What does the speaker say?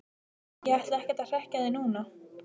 Ég ætla ekkert að hrekkja þig núna,